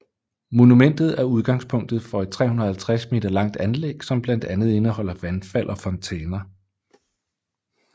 Monumentet er udgangspunktet for et 350 meter langt anlæg som blandt andet indeholder vandfald og fontæner